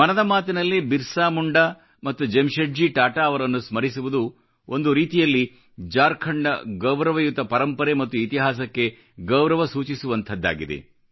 ಮನದ ಮಾತಿನಲ್ಲಿ ಬಿರ್ಸಾ ಮುಂಡಾ ಮತ್ತು ಜೆಮ್ಶೆಡ್ಜಿ ಟಾಟಾ ಅವರನ್ನು ಸ್ಮರಿಸುವುದು ಒಂದು ರೀತಿಯಲ್ಲಿ ಜಾರ್ಖಂಡ್ನ ಗೌರವಯುತ ಪರಂಪರೆ ಮತ್ತು ಇತಿಹಾಸಕ್ಕೆ ಗೌರವ ಸೂಚಿಸುವಂಥದ್ದಾಗಿದೆ